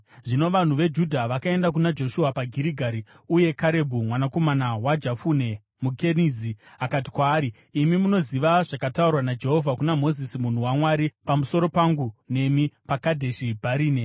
Zvino vanhu veJudha vakaenda kuna Joshua paGirigari, uye Karebhu, mwanakomana waJefune muKenizi, akati kwaari, “Imi munoziva zvakataurwa naJehovha kuna Mozisi munhu waMwari, pamusoro pangu nemi, paKadheshi Bharinea.